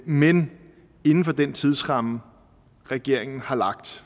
men inden for den tidsramme regeringen har lagt